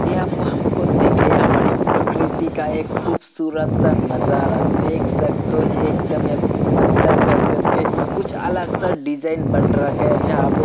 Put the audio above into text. ये आप हमको देखिए ये हमारी प्रकृति का एक खुबसूरत सा नजारा देख सकते हो एक दम पत्थर घस घस के कुछ अलग सा डिजाइन बन रखा है जहाँ पे --